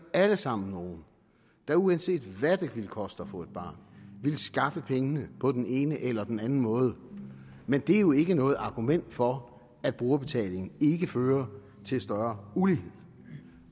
alle sammen nogen der uanset hvad det ville koste at få et barn ville skaffe pengene på den ene eller den anden måde men det er jo ikke noget argument for at brugerbetaling ikke fører til større ulighed